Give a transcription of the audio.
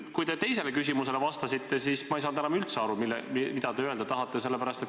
Kui te teisele küsimusele vastasite, siis ma ei saanud enam üldse aru, mida te öelda tahate.